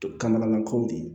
Kamanagan kow de ye